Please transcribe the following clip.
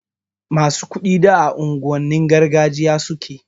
Masu kuɗin da a unguwannin gargajiya suke